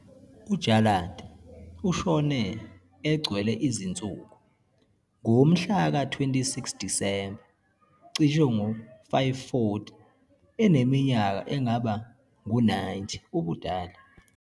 UJarlath ushone, "egcwele izinsuku", ngomhlaka-26 Disemba, cishe ngo-540, eneminyaka engaba ngu-90 ubudala.